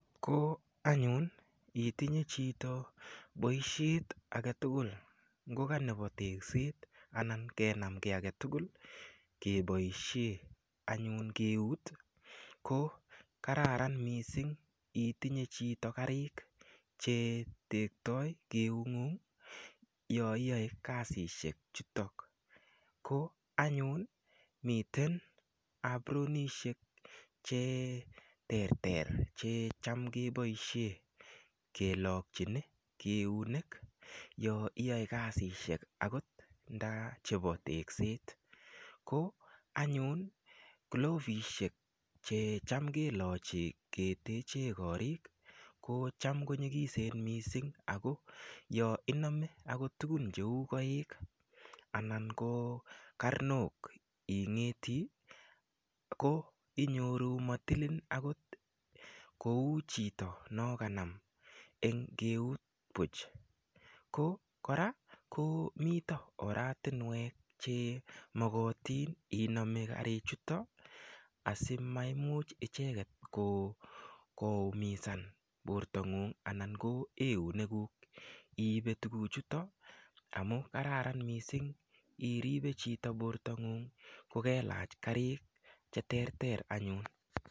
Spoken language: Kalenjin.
Ko anyun itinye chito boishet agetugul ngoka nebo tekset anan kenam kiy agetugul keboishe anyun keut ko kararan mising itinye chito karik che tektoi eung'ung yo iyoe kasishek chutok ko anyun miten apronishek cheterter che cham keboishe kelokchini keunek yo iyoe kasishek akot nda chebo tekset ko anyun klovishek che cham kelochi keteche korik ko cham ko nyikisen mising ako yo inome akot tukun cheu koik ana ko karnok ing'eti ko inyoru matilin akot kou chito no kanam eng keut puch ko kora komito oratinwek che mokotin inome karik chuto asimaimuch icheket koumisan bortangung anan ko eunek kuk iibe tukuk chuto amu kararan mising iribe chito borto ng'ung' kokelach karik che ter ter anyun.